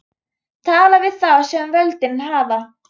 Tala við þá sem völdin hafa.